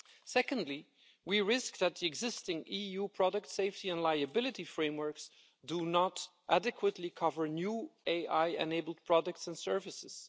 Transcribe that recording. Secondly, we risk that the existing EU product safety and liability frameworks do not adequately cover new AI-enabled products and services.